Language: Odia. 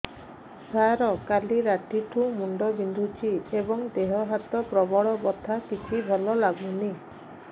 ସାର କାଲି ରାତିଠୁ ମୁଣ୍ଡ ବିନ୍ଧୁଛି ଏବଂ ଦେହ ହାତ ପ୍ରବଳ ବଥା କିଛି ଭଲ ଲାଗୁନି